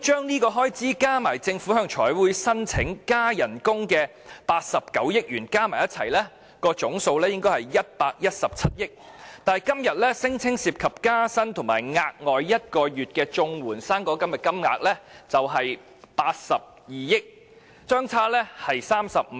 若把此項開支加上政府向財委會申請增加薪酬的89億元，總數應該是117億元，但追加撥款聲稱涉及公務員加薪及綜援和"生果金 "1 個月額外援助金的金額卻是82億元，相差35億元。